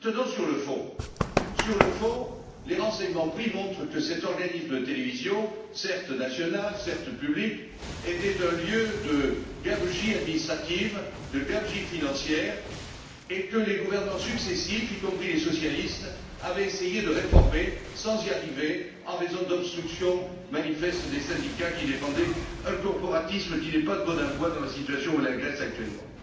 Sur le fond, les renseignements pris montrent que cet organisme de télévision, certes national, certes public, était un lieu de gabegies administratives, de gabegies financières, et que les gouvernements successifs, y compris les socialistes, avaient essayé de réformer sans y arriver, en raison d'obstructions manifestes des syndicats, qui défendaient un corporatisme qui n'est pas de bon aloi dans la situation où est la Grèce actuellement.